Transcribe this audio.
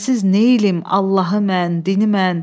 Sənsiz neyləyim Allahı mən, dini mən.